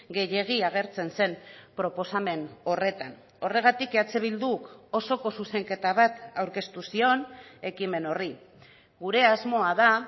gehiegi agertzen zen proposamen horretan horregatik eh bilduk osoko zuzenketa bat aurkeztu zion ekimen horri gure asmoa da